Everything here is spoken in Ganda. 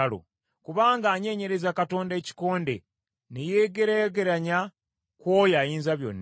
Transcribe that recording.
Kubanga anyeenyerezza Katonda ekikonde, ne yeegereegeranya ku oyo Ayinzabyonna,